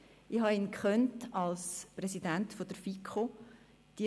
Ich habe ihn als Präsidenten der FiKo erlebt;